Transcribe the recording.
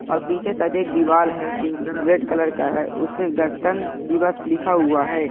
और पीछे शायद एक दिवाल है जी रेड कलर का है और उसमे गणतंत्र दिवस लिखा हुआ है।